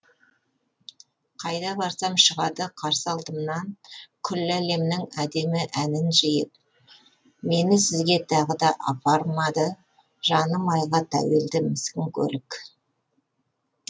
қайда барсам шығады қарсы алдымнан күллі әлемнің әдемі әнін жиып мені сізге тағы да апармады жаны майға тәуелді міскін көлік